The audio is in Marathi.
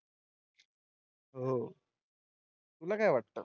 हो तुला काय वाटतं?